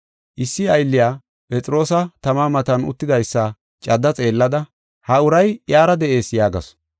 Issi gadhindiya Phexroosi tama matan uttidaysa cadda xeellada, “Ha uray iyara de7ees” yaagasu.